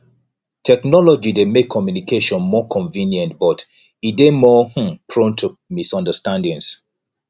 technology dey make communication more convenient but e dey more um prone to misunderstandings